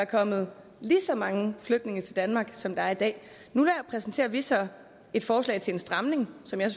kommet lige så mange flygtninge til danmark som der er i dag nu præsenterer vi så et forslag til en stramning som jeg